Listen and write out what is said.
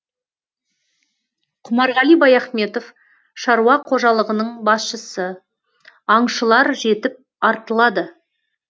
құмарғали баяхметов шаруа қожалығының басшысы аңшылар жетіп артылады